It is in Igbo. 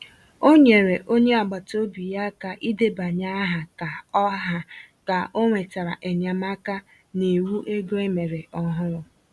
Ọ nyere onye agbata obi ya aka idebanye aha ka o aha ka o nwetara enyemaka n’iwu ego e mere ọhụrụ.